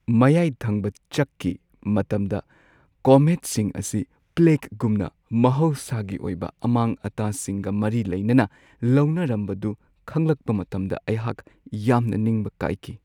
ꯃꯌꯥꯏ ꯊꯪꯕ ꯆꯛꯀꯤ ꯃꯇꯝꯗ ꯀꯣꯃꯦꯠꯁꯤꯡ ꯑꯁꯤ ꯄ꯭ꯂꯦꯒꯒꯨꯝꯅ ꯃꯍꯧꯁꯥꯒꯤ ꯑꯣꯏꯕ ꯑꯃꯥꯡ-ꯑꯇꯥꯁꯤꯡꯒ ꯃꯔꯤ ꯂꯩꯅꯅ ꯂꯧꯅꯔꯝꯕꯗꯨ ꯈꯪꯂꯛꯄ ꯃꯇꯝꯗ ꯑꯩꯍꯥꯛ ꯌꯥꯝꯅ ꯅꯤꯡꯕ ꯀꯥꯏꯈꯤ ꯫